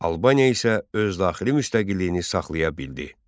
Albaniya isə öz daxili müstəqilliyini saxlaya bildi.